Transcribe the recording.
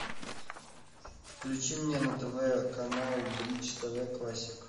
включи мне на тв канал бридж тв классик